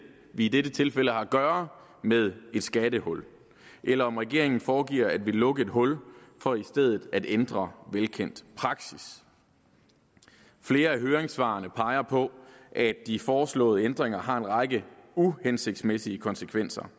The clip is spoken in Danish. vi i dette tilfælde har at gøre med et skattehul eller om regeringen foregiver at ville lukke et hul for i stedet at ændre velkendt praksis flere af høringssvarene peger på at de foreslåede ændringer har en række uhensigtsmæssige konsekvenser